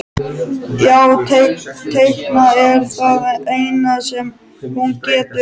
Já, teikna er það eina sem hún getur.